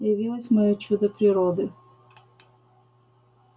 явилось моё чудо природы